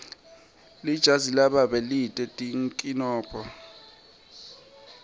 lijazi lababe lite tinkinombo